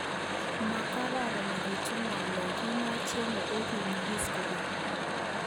Mokoronekitun nga'lek kinoche'nge onyigisit kogeny